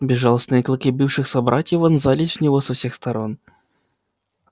безжалостные клыки бывших собратьев вонзались в него со всех сторон